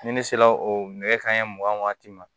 Ni ne sera o kanɲɛ mugan waati ma